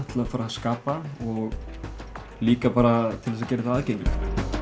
til að fara að skapa og líka bara til að gera þetta aðgengilegt